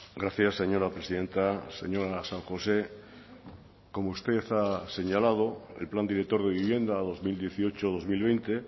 gracias señora presidenta señora san josé como usted ha señalado el plan director de vivienda dos mil dieciocho dos mil veinte